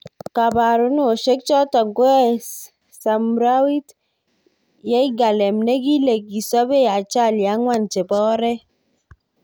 Kaparunosbek. chotok keyoe Samrawit Yirgalem nekile kisopei ajali ang'wan chepo oret